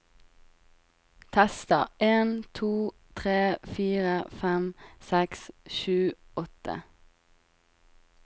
Tester en to tre fire fem seks sju åtte